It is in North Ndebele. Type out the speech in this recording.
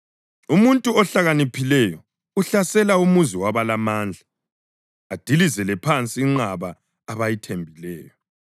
Umuntu ohlakaniphileyo uhlasela umuzi wabalamandla adilizele phansi inqaba abayithembileyo.